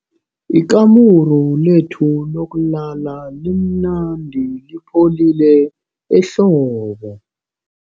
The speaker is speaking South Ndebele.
Ikamuru lethu lokulala limnandi lipholile ehlobo.